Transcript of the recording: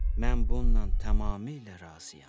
Mən bununla tamamilə razıyam.